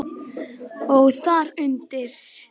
Og þar undir